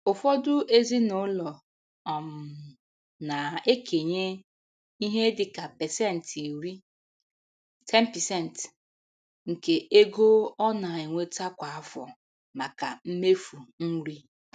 Ụfọdụ ezinaụlọ um na-ekenye ihe dịka pasentị iri (10%) nke ego ọ na-enweta kwa afọ maka mmefu nri.